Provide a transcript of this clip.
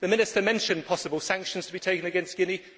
The Minister mentioned possible sanctions to be taken against Guinea.